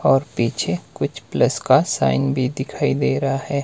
और पीछे कुछ प्लस का साइन भी दिखाई दे रहा है।